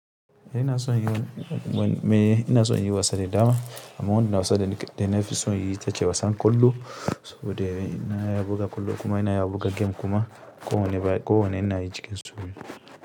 Ina son yiwa me ina son inyi wasa da dama, amma wani wasa dana fi son inyi ita ce wasan ƙwallo saboda ina iya buga ƙwallo kuma ina iya buga game kuma ko wanne ina yi cikin su.